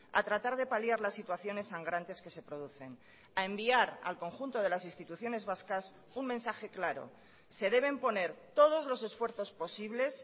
a tratar de paliar las situaciones sangrantes que se producen a enviar al conjunto de las instituciones vascas un mensaje claro se deben poner todos los esfuerzos posibles